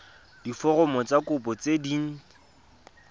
diforomo tsa kopo tse dint